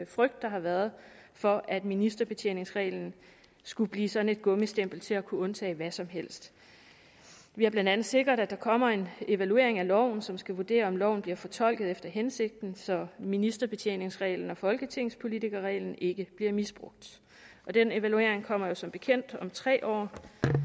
frygt der har været for at ministerbetjeningsreglen skulle blive sådan et gummistempel til at kunne undtage hvad som helst vi har blandt andet sikret at der kommer en evaluering af loven som skal vurdere om loven bliver fortolket efter hensigten så ministerbetjeningsreglen og folketingspolitikerreglen ikke bliver misbrugt den evaluering kommer jo som bekendt om tre år